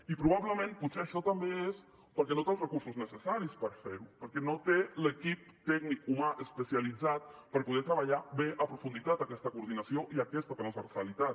i probablement potser això també és perquè no té els recursos necessaris per fer ho perquè no té l’equip tècnic humà especialitzat per poder treballar bé amb profunditat aquesta coordinació i aquesta transversalitat